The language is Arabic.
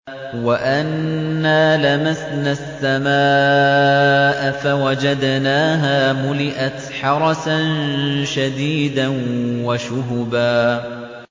وَأَنَّا لَمَسْنَا السَّمَاءَ فَوَجَدْنَاهَا مُلِئَتْ حَرَسًا شَدِيدًا وَشُهُبًا